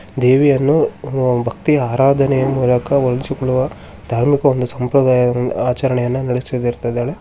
ದೇವೆಯನ್ನು ಭಕ್ತಿ ಆರಾಧನೆ ಮೂಲಕ ಉಳಿಸಿಕೊಳ್ಳುವ ಒಂದು ಸಂಪ್ರದಾಯವನ್ನು ಆಚರಿಸುತ್ತಿದ್ದಾರೆ.